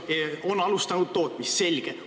On alustatud tootmist – selge.